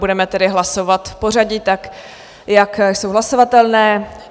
Budeme tedy hlasovat v pořadí tak, jak jsou hlasovatelné.